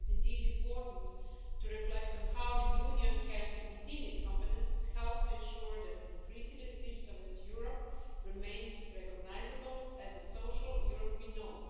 It is indeed important to reflect on how the Union can, within its competences, help to ensure that an increasingly digitalised Europe remains recognisable as the social Europe we know.